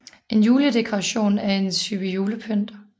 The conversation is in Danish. En juledekoration er en type julepynt